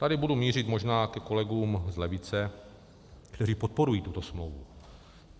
Tady budu mířit možná ke kolegům z levice, kteří podporují tuto smlouvu.